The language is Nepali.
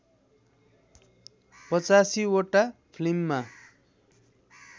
८५ वटा फिल्ममा